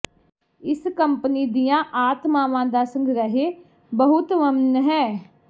ਇਸ ਕੰਪਨੀ ਦੀਆਂ ਆਤਮਾਵਾਂ ਦਾ ਸੰਗ੍ਰਹਿ ਬਹੁਤ ਵੰਨ ਹੈ